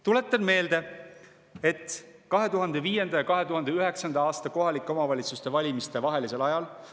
Tuletan meelde, et 2005. ja 2009. aasta kohalike omavalitsuste valimiste vahelisel ajal …